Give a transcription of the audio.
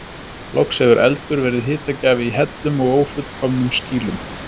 loks hefur eldur verið hitagjafi í hellum og ófullkomnum skýlum